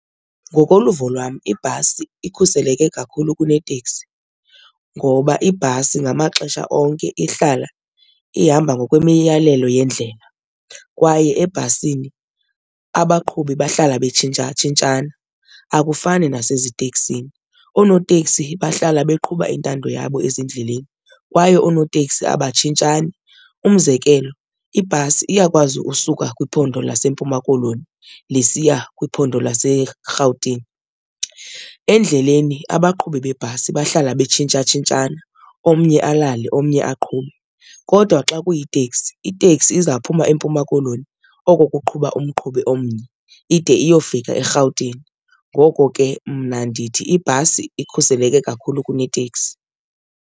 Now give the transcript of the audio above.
Ngokoluvo lwam ibhasi ikhuseleke kakhulu kuneteksi ngoba ibhasi ngamaxesha onke ihlala ihamba ngokwemiyalelo yendlela kwaye ebhasini abaqhubi bahlala betshintshatshintshana akufani naseziteksini. Oonoteksi bahlala beqhuba intando yabo ezindleleni kwaye oonoteksi abatshintshani. Umzekelo, ibhasi iyakwazi usuka kwiphondo laseMpuma Koloni lisiya kwiphondo laseRhawutini. Endleleni abaqhubi bebhasi bahlala betshintsha tshintshana omnye alale omnye aqhube kodwa xa kuyiteksi iteksi, izawuphuma eMpuma Koloni oko kuqhuba umqhubi omnye ide iyofika eRhawutini. Ngoko ke mna ndithi ibhasi ikhuseleke kakhulu kuneteksi.